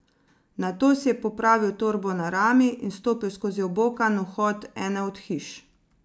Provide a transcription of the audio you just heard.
Nato si je popravil torbo na rami in stopil skozi obokan vhod ene od hiš.